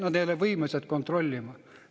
Nad ei ole võimelised kontrollima.